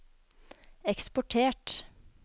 eksportert